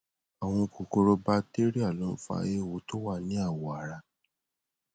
àwọn kòkòrò bacteria ló ń fa eéwo tó wà ní awọ ara